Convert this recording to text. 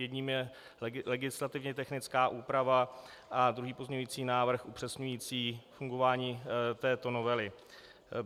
Jedním je legislativně technická úprava a druhý pozměňovací návrh upřesňující fungování této novely.